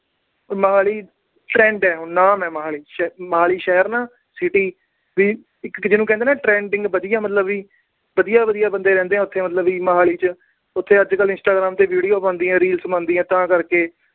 Mohali friend ਏ, ਉਹਨਾਂ ਦਾ ਮਹਿਮਾਨ ਵਿੱਚ। ਮੋਹਾਲੀ ਸ਼ਹਿਰ ਨਾ city ਇੱਕ ਜਿਹਨੂੰ ਕਹਿੰਦੇ ਆ ਨਾ। trending ਵਧੀਆ ਮਤਲਬ ਵੀ। ਵਧੀਆ ਵਧੀਆ ਬੰਦੇ ਰਹਿੰਦੇ ਆ ਵੀ ਉਥੇ ਮੋਹਾਲੀ ਚ। ਉਥੇ ਅੱਜ-ਕੱਲ੍ਹ Instagram ਤੇ video ਬਣਦੀ ਆ, reels ਬਣਦੀ ਆ ਤਾਂ ਕਰਕੇ।